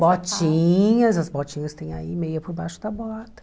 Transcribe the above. Botinhas, as botinhas tem aí meia por baixo da bota.